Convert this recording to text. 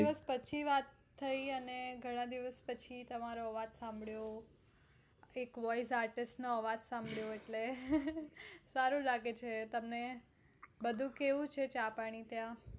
પછી વાત થઇ ઘણા દિવસ પછી અને ઘણા દિવસ પછી તમારો અવાજ સાંભળ્યો એક voice artist નો અવાજ સાંબભળ્યો એટલે સારું લાગે છે તમને બધું કેવું છે ચા પાણી ત્યાં?